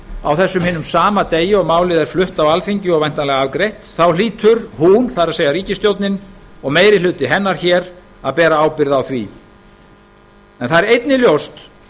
á þessum hinum sama degi og málið er flutt á alþingi og væntanlega afgreitt hlýtur hún það er ríkisstjórnin og meiri hluti hennar hér að bera ábyrgð á því það er einnig ljóst